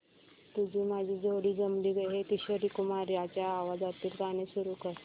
तुझी माझी जोडी जमली गं हे किशोर कुमारांच्या आवाजातील गाणं सुरू कर